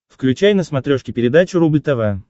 включай на смотрешке передачу рубль тв